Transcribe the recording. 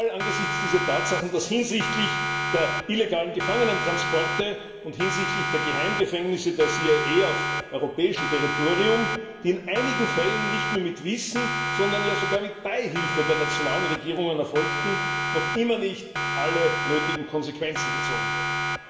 Angesichts dieser Tatsachen ist es ein Skandal, dass hinsichtlich der illegalen Gefangenentransporte und hinsichtlich der Geheimgefängnisse der CIA, die auf europäischem Territorium in einigen Fällen nicht nur mit Wissen, sondern sogar mit Beihilfe der nationalen Regierungen erfolgten, noch immer nicht alle nötigen Konsequenzen gezogen wurden.